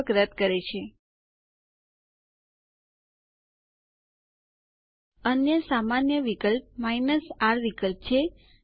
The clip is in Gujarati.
આપણે જોશું કે યુઝર અકાઉન્ટ ડક રદ થયેલ છે